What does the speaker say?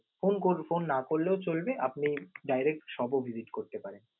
phone কর~ phone না করলেও চলবে আপনি direct shop ও visit করতে পারেন